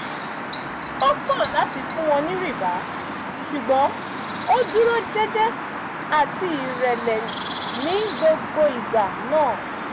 ó kọ̀ láti fún wọn ní rìbá ṣùgbọ́n ó dúró jẹ́jẹ́ àti ìrẹ̀lẹ̀ ní gbogbo ìgbà náà